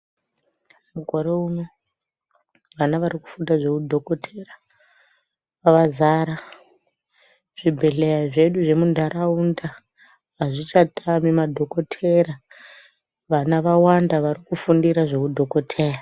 Mukore uno vana varikufunda zveudhokotera vadzara. Zvibhedhleya zvedu zvemuntaraunda hazvichatami madhokotera. Vana vawanda varikufundira zveudhokoteya.